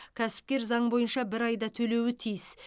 кәсіпкер заң бойынша бір айда төлеуі тиіс